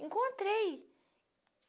Encontrei.